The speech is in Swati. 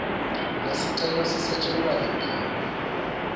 lesicelo sisetjentwa litiko